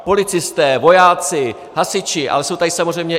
Policisté, vojáci, hasiči, ale jsou tady samozřejmě...